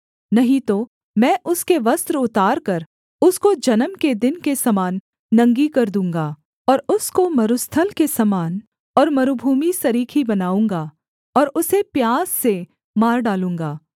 नहीं तो मैं उसके वस्त्र उतारकर उसको जन्म के दिन के समान नंगी कर दूँगा और उसको मरुस्थल के समान और मरूभूमि सरीखी बनाऊँगा और उसे प्यास से मार डालूँगा